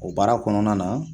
O baara kɔnɔna na